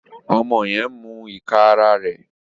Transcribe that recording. Ọmọ yẹn n mú ìká àrà rẹ.